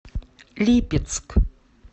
липецк